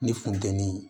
Ni funteni